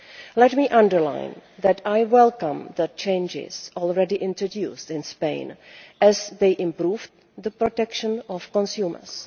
Let me underline that I welcome the changes already introduced in Spain, as they improve the protection of consumers.